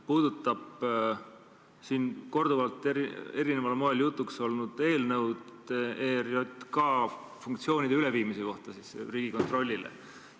Puudutan siin korduvalt eri moel jutuks olnud eelnõu ERJK funktsioonide üleandmise kohta Riigikontrollile.